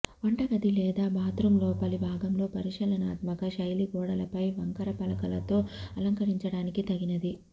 వంటగది లేదా బాత్రూం లోపలి భాగంలో పరిశీలనాత్మక శైలి గోడలపై వంకర పలకలతో అలంకరించడానికి తగినది